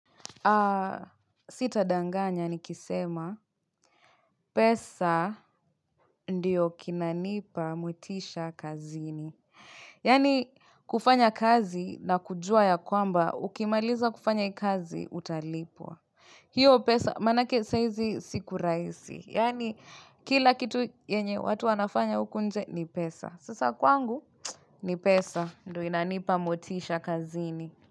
Sita danganya nikisema pesa ndiyo kinanipa motisha kazini. Yaani kufanya kazi na kujua ya kwamba ukimaliza kufanya kazi utalipwa. Hiyo pesa manake saizi siku raisi. Yani kila kitu yenye watu wanafanya huku nje ni pesa. Sasa kwangu ni pesa ndio inanipa motisha kazini.